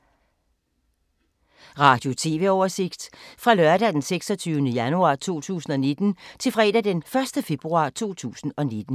Radio/TV oversigt fra lørdag d. 26. januar 2019 til fredag d. 1. februar 2019